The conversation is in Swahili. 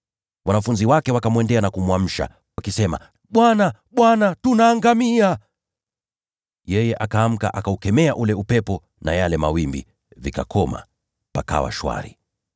Wanafunzi wake wakamwendea na kumwamsha, wakisema, “Bwana, Bwana, tunaangamia!” Yeye akaamka, akaukemea ule upepo na yale mawimbi; dhoruba ikakoma, nako kukawa shwari.